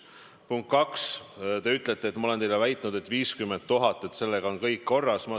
Punkt kaks, te ütlete, et ma olen teile väitnud: 50 000, sellega on kõik korras.